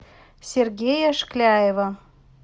сергея шкляева